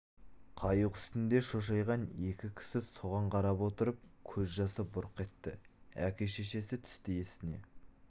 қайық үстінде шошайған екі кісі соған қарап отырып көз жасы бұрқ етті әке-шешесі түсті есіне